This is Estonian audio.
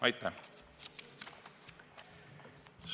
Aitäh!